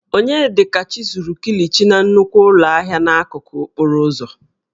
Onyedikachi zuru kilichi na nnukwu ụlọ ahịa n'akụkụ okporo ụzọ